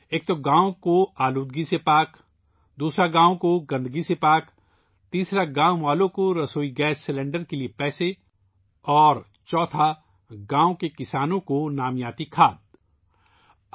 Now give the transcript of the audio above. ایک ، گاؤں آلودگی سے آزاد ، دوسرا گاؤں گندگی سے آزاد ، تیسرا گاؤں والوں کو ایل پی جی سلنڈر کے پیسے اور چوتھا گاؤں کے کسانوں کو نامیاتی کھاد کی فراہمی